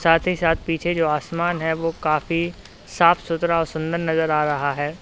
साथ ही साथ पीछे जो आसमान है वो काफी साफ सुथरा और सुंदर नजर आ रहा है।